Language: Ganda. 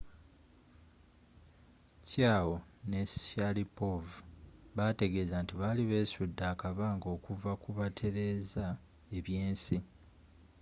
chiao ne sharipov baategeza nti bali beesudde akabanga okuva kubatereza ebyensi